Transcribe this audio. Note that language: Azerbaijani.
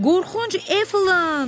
Qorxunc Efland!